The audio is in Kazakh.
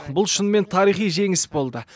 бұл шынымен тарихи жеңіс болды